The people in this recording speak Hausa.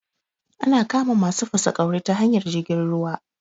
Ana kama masu fasaƙauri ta hanyar jirgin ruwa